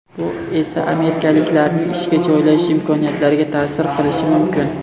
Bu esa amerikaliklarning ishga joylashish imkoniyatlariga ta’sir qilishi mumkin.